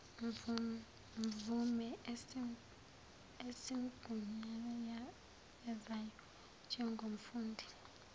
mvume esimgunyazayo njengomfundi